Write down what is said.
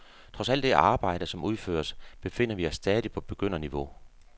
Trods alt det arbejde, som udføres, befinder vi os stadig på begynderniveau.